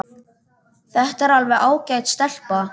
Þetta er alveg ágæt stelpa.